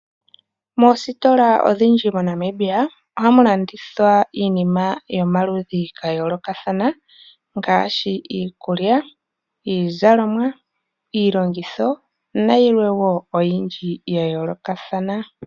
Moositola odhindji moNamibia ohamu landithwa iinima yomaludhi gayoolokathana ngaashi iikulya, iizalomwa, iilongitho nayilwe oyindji yayoolokathana.